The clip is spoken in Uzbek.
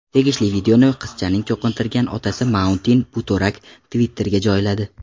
Tegishli videoni qizchaning cho‘qintirgan otasi Mauntin Butorak Twitter’ga joyladi.